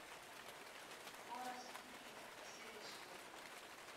хорас и пит последний сезон